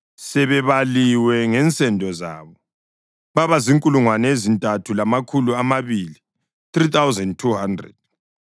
sebebaliwe ngensendo zabo, babazinkulungwane ezintathu lamakhulu amabili (3,200).